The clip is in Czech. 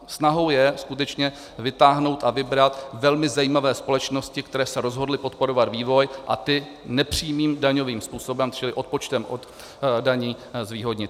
Snahou je skutečně vytáhnout a vybrat velmi zajímavé společnosti, které se rozhodly podporovat vývoj, a ty nepřímým daňovým způsobem, čili odpočtem od daní, zvýhodnit.